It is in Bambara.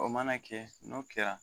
O mana kɛ, n'o kɛra